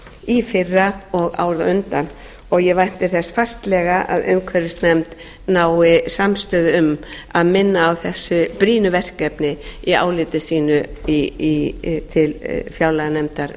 í fyrra og árið á undan og ég vænti þess fastlega að umhverfisnefnd nái samstöðu um að minna á þessu brýnu verkefni í áliti sínu til fjárlaganefndar